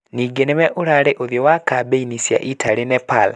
Ningĩ nĩwe ũrarĩ ũthiũ wa kambĩ-ini cia Italy Nepal.